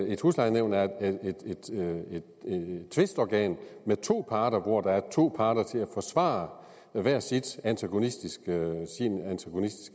et huslejenævn er et tvistorgan med to parter altså hvor der er to parter til at forsvare hver sin antagonistiske